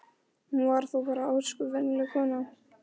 Hún var þó bara ósköp venjuleg kona.